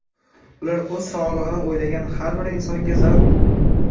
Ular o‘z sog‘lig‘ini o‘ylagan har bir insonga zarur.